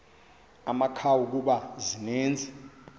amakhawu kuba zininzi